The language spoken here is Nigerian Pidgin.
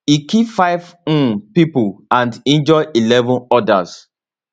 e kill five um pipo and injure eleven odas